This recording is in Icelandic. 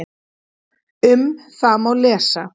Um það má lesa